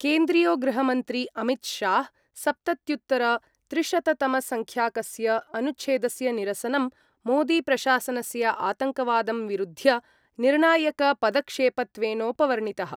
केन्द्रीयो गृहमन्त्री अमितशाह सप्तत्युत्तरत्रिशततमसंख्याकस्य अनुच्छेदस्य निरसनं मोदीप्रशासनस्य आतङ्कवादं विरुध्य निर्णायकपदक्षेपत्वेनोपवर्णितः।